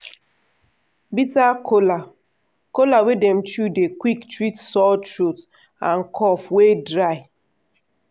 bitter kola kola wey dem chew dey quick treat sore throat and cough wey dry.